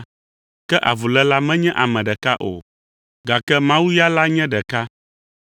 Ke avuléla menye ame ɖeka o; gake Mawu la ya nye ɖeka.